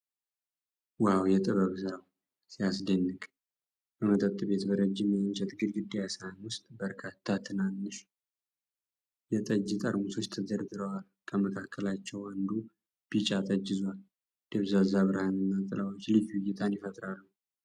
ዋው! የጥበብ ሥራው ሲያስደንቅ! በመጠጥ ቤት በረጅም የእንጨት ጎድጓዳ ሳህን ውስጥ በርካታ ትናንሽ የጠጅ ጠርሙሶች ተደርድረዋል። ከመካከላቸው አንዱ ቢጫ ጠጅ ይዟል። ደብዛዛ ብርሃንና ጥላዎች ልዩ እይታን ይፈጥራሉ።